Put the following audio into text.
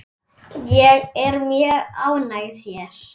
Ég er mjög ánægð hér.